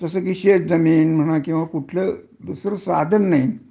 जस कि शेत जमीन दुसर कुठल साधन नाही